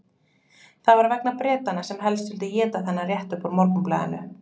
Það var vegna Bretanna sem helst vildu éta þennan rétt upp úr Morgunblaðinu.